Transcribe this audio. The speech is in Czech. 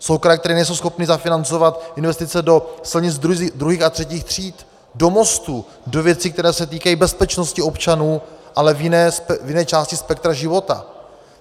Jsou kraje, které nejsou schopny zafinancovat investice do silnic druhých a třetích tříd, do mostů, do věcí, které se týkají bezpečnosti občanů, ale v jiné části spektra života.